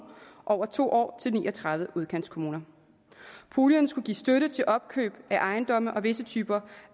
over to år til ni og tredive udkantskommuner puljen skulle give støtte til opkøb af ejendomme og visse typer